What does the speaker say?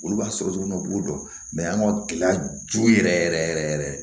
Olu b'a sɔrɔ cogo min na u b'o dɔn an ka gɛlɛya jo yɛrɛ yɛrɛ yɛrɛ